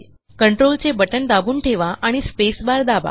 कंट्रोलचे बटण दाबून ठेवा आणि स्पेसबार दाबा